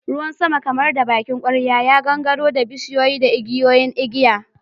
Ruwan sama kamar da bakin kwarya ya gangaro da bishiyu da igiyoyin igiya.